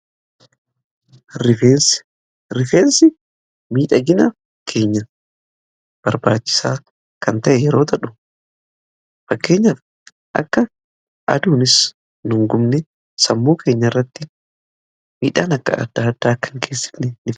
Rifeensa; Rifeensi miidhagina keenya barbaachisaa kan ta'e yeroo ta'u, fakkeenyaf akka aduunis nu hin gubne sammuu keenya irratti miidhaan adda adda akka hin geessifene godha.